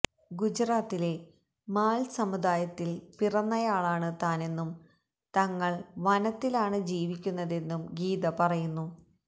ഗുജറാത്തിലെ മാല്സമുദായത്തില് പിറന്നയാളാണ് താനെന്നും തങ്ങള് വനത്തിലാണ് ജീവിക്കുന്നതെന്നും ഗീത പറയുന്നു